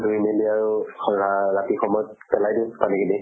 ধুই মেলি আৰু ৰা ৰাতি সময়ত পেলাই দিওঁ পানী খিনি।